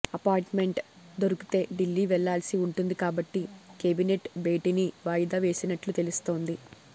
appointment దొరికితే ఢిల్లీ వెళ్లాల్సి ఉంటుంది కాబట్టి కేబినెట్ భేటీని వాయిదా వేసినట్లు తెలుస్తోంది